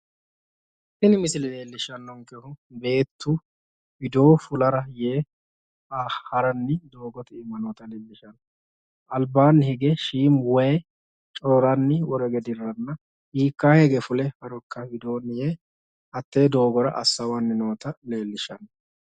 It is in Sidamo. Tini misile leellishshannonkehu beettu widoo fulara yee haranni doogote iima noota leellishshanno. Albaanni hige shiimu wayi cororanni woro hige dirranna hiikkaa hige fule harokka widoonni yee hattee doogora assawanni noota leellishanno.